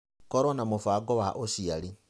Kũrũo na mũbango wa ũciari.